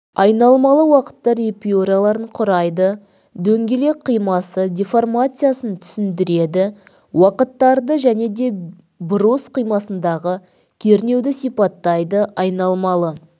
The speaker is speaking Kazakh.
айналмалы уақыттар эпюраларын құрайды дөңгелек қимасы деформациясын түсіндіреді уақыттарды және де брус қимасындағы кернеуді сипаттайды айналмалы